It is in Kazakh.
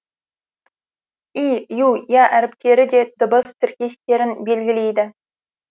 и ю я әріптері де дыбыс тіркестерін белгілейді